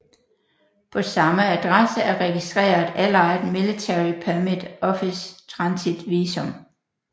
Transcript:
På samme adresse er registreret Allied Military Permit Office Transit Visum